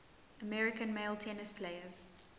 american male tennis players